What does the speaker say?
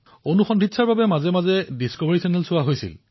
কেতিয়াবা পূৰ্বে Discovery Channel চাইছিলো